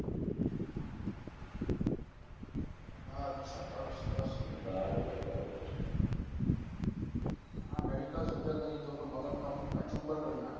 અછા સરસ સરસ આ medical શબ્દ નથી તો પન મગજનો કચુબર કરી નાખ્યો છે